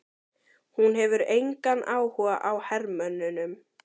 Hún hefur engan áhuga á hermönnunum.